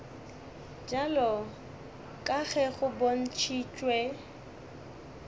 bjalo ka ge go bontšhitšwe